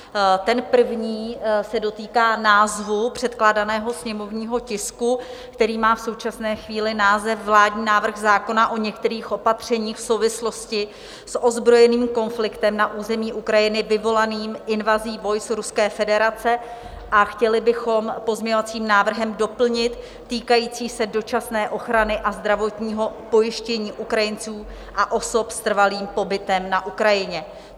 Ten první se dotýká názvu předkládaného sněmovního tisku, který má v současné chvíli název vládní návrh zákona o některých opatřeních v souvislosti a ozbrojeným konfliktem na území Ukrajiny vyvolaným invazí vojsk Ruské federace, a chtěli bychom pozměňovacím návrhem doplnit: týkající se dočasné ochrany a zdravotního pojištění Ukrajinců a osob s trvalým pobytem na Ukrajině.